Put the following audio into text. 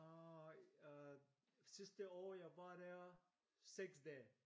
Og øh sidste år jeg var der 6 dage